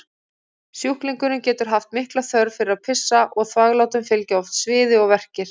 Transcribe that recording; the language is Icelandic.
Sjúklingurinn getur haft mikla þörf fyrir að pissa og þvaglátum fylgja oft sviði og verkir.